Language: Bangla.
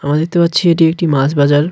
আমরা দেখতে পারছি এটি একটি মাছ বাজার.